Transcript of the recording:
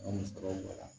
An bɛ sɔrɔ bɔ la